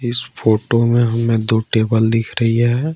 इस फोटो में हमें दो टेबल दिख रही है।